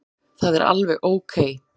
Það er alveg ókei.